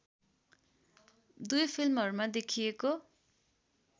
दुई फिल्महरूमा देखिएको